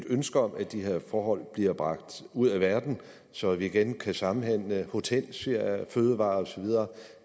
ønsker om at de her forhold bliver bragt ud af verden så vi igen kan samhandle hortensiaer fødevarer og så videre